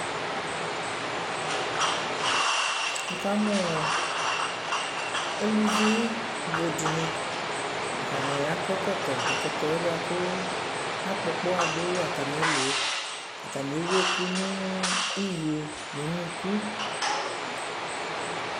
Wukamuu eluvi budini atani akɔ ɛkɔtɔ ɛkɔtɔɛ buaku akpɔ ɔkpaɣa du atamiɛluɛ ataniɛwu ɛku niyo nunuku